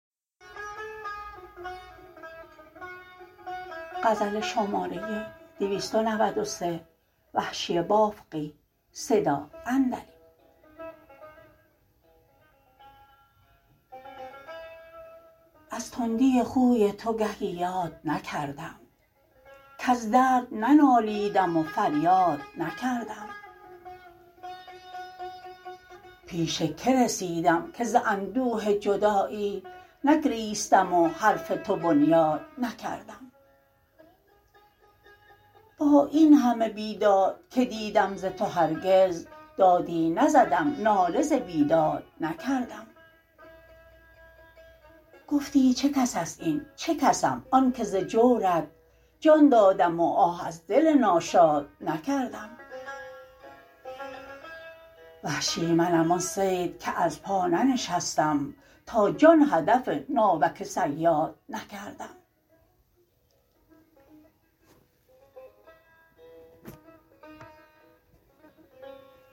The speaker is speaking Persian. از تندی خوی تو گهی یاد نکردم کز درد ننالیدم و فریاد نکردم پیش که رسیدم که ز اندوه جدایی نگریستم و حرف تو بنیاد نکردم با اینهمه بیداد که دیدم ز تو هرگز دادی نزدم ناله ز بیداد نکردم گفتی چه کس است این چه کسم آن که ز جورت جان دادم و آه از دل ناشاد نکردم وحشی منم آن صید که از پا ننشستم تا جان هدف ناوک صیاد نکردم